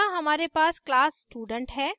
यहाँ हमारे पास class student है